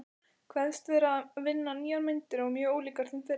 Kveðst vera að vinna nýjar myndir mjög ólíkar þeim fyrri.